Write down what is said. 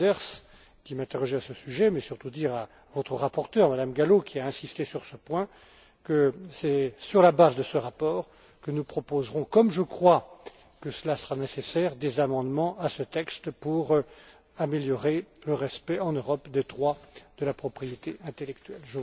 Manders, qui m'interrogeait à ce sujet, mais surtout dire à votre rapporteure, Mme Gallo, qui a insisté sur ce point, que c'est sur la base de ce rapport que nous proposerons comme je crois que cela sera nécessaire des amendements à ce texte pour améliorer le respect, en Europe, des droits de la propriété intellectuelle.